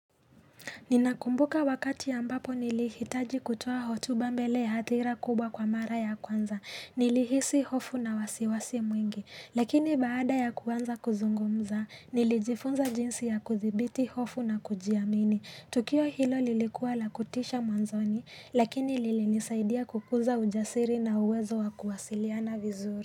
Ninakumbuka wakati ambapo nilihitaji kutoa hotuba mbele ya hadhira kubwa kwa mara ya kwanza. Nili hisi hofu na wasiwasi mwingi. Lakini baada ya kuanza kuzungumza, nilijifunza jinsi ya kuthibiti hofu na kujiamini. Tukio hilo lilikuwa lakutisha mwanzoni, lakini lili nisaidia kukuza ujasiri na uwezo wa kuwasiliana vizuri.